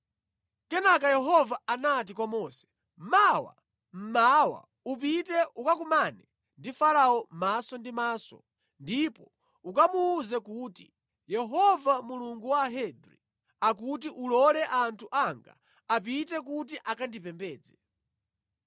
Kenaka Yehova anati kwa Mose, “Mawa mmawa upite ukakumane ndi Farao maso ndi maso ndipo ukamuwuze kuti Yehova Mulungu wa Ahebri akuti ulole anthu anga apite kuti akandipembedze.